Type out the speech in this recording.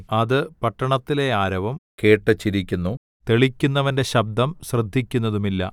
അത് പട്ടണത്തിലെ ആരവം കേട്ടു ചിരിക്കുന്നു തെളിക്കുന്നവന്റെ ശബ്ദം ശ്രദ്ധിക്കുന്നതുമില്ല